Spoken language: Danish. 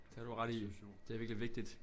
Det har du ret i det er virkelig vigtigt